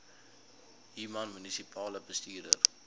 human munisipale bestuurder